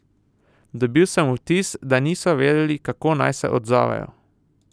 Dobil sem vtis, da niso vedeli, kako naj se odzovejo.